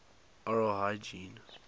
oral hygiene